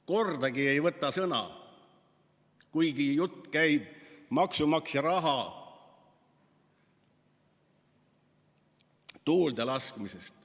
Kordagi ei võta sõna, kuigi jutt käib maksumaksja raha tuulde laskmisest.